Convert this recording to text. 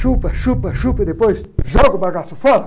Chupa, chupa, chupa e depois joga o bagaço fora.